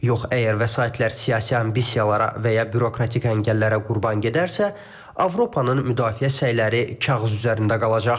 Yox, əgər vəsaitlər siyasi ambisiyalara və ya bürokratik əngəllərə qurban gedərsə, Avropanın müdafiə səyləri kağız üzərində qalacaq.